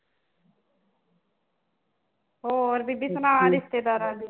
ਹੋਰ ਬੀਬੀ ਸੁਣਾ ਰਿਸ਼ਤੇਦਾਰਾਂ ਦੀ